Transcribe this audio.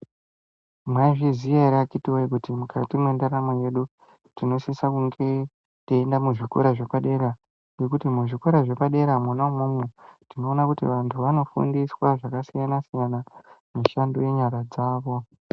Maizviziya here akiti woye kuti mukati mendaramo yedu tinosisa kuenda kuzvikora zvepadera nekuti muzvikora zvepadera mwonaimomo tinoona kuti vantu vanofundiswa zvakasiyana siyana mishando yenyara dzavo.